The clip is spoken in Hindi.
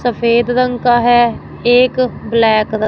सफेद रंग का है एक ब्लैक क--